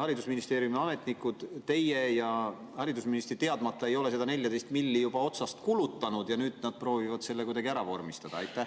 haridusministeeriumi ametnikud ei ole teie ja haridusministri teadmata seda 14 miljonit juba otsast kulutanud ja nüüd nad proovivad selle kuidagi ära vormistada?